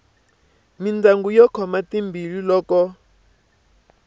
mindyangu yo khoma timbilu loko